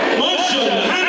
Maşallah!